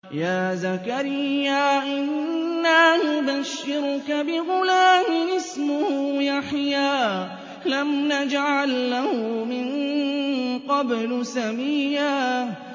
يَا زَكَرِيَّا إِنَّا نُبَشِّرُكَ بِغُلَامٍ اسْمُهُ يَحْيَىٰ لَمْ نَجْعَل لَّهُ مِن قَبْلُ سَمِيًّا